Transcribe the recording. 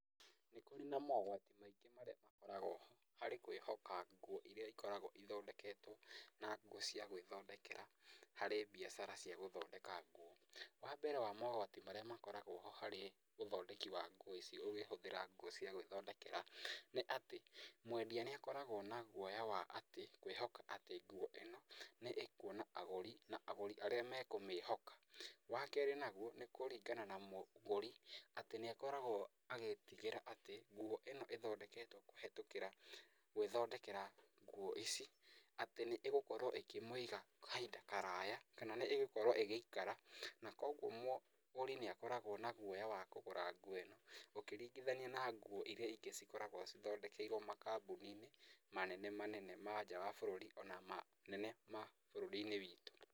Nĩ kũrĩ na mogwati maingĩ marĩa makoragwo ho harĩ kwĩhoka nguo iria cikoragwo ithondeketwo na nguo cia gwĩthondekera, harĩ mbiacara cia gũthondeka nguo. Wa mbere wa mogwati marĩa makoragwo ho harĩ ũthondeki wa nguo ici ũkĩhũthíra nguo cia gwíthondekera, nĩ atĩ mwendia nĩ akoragwo na guoya wa kwĩhoka atĩ kwĩhoka ngũo ĩno nĩ ĩkuona agũrĩ na agũri arĩa mekũmĩhoka. Wa keerĩ naguo nĩ kũringana na mũgũri atĩ nĩ akoragwo agĩtigĩra atĩ nguo ĩno ĩthondeketwo kũhetũkĩra gwĩthondekera nguo ici, atĩ nĩ ĩgũkorwo ĩkĩmwiga kahinda karaya kana nĩ ĩgũkorwo ĩgĩikara, na kũuguo mũgũri nĩ akoragwo na guoya wa kũgũra nguo ĩno ũkĩringithania na nguo iria ingĩ cikoragwo cithondekeirwo makambuni-inĩ manene manene ma nja wa bũrũri ona manene ma bũrũri-inĩ witũ.